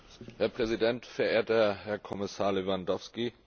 Herr Präsident, verehrter Herr Kommissar Lewandowski!